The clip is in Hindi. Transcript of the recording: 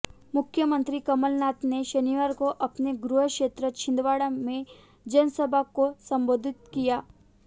मुख्यमंत्री कमलनाथ ने शनिवार को अपने गृहक्षेत्र छिंदवाड़ा में जनसभा को संबोधित किया